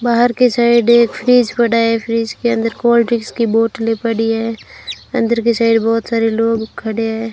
बाहर के साइड एक फ्रिज पड़ा है फ्रिज के अंदर कोल्ड ड्रिंक्स की बोतले पड़ी है अंदर की साइड बहुत सारे लोग खड़े हैं।